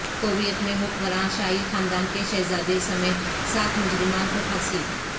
Kuwait میں حکمراں شاہی خاندان کے شہزادے سمیت سات مجرمان کو پھانسی